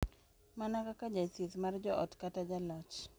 Mana kaka jathieth mar joot kata jaloch,